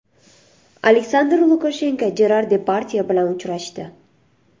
Aleksandr Lukashenko Jerar Depardye bilan uchrashdi.